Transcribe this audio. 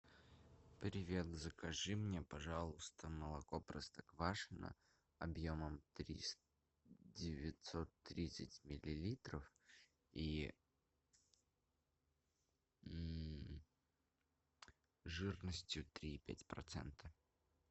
привет закажи мне пожалуйста молоко простоквашино объемом девятьсот тридцать миллилитров и жирностью три и пять процента